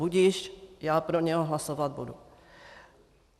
Budiž, já pro něj hlasovat budu.